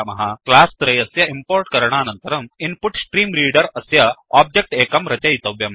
class त्रयस्य import करणानन्तरम् InputStreamReader अस्य ओब्जेक्ट् एकं रचयितव्यम्